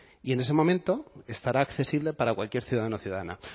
y en ese momento estará accesible para cualquier ciudadano o ciudadana